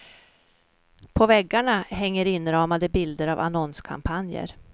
På väggarna hänger inramade bilder av annonskampanjer.